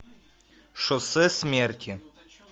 шоссе смерти